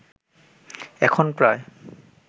এখন প্রায়